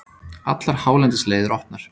Allar hálendisleiðir opnar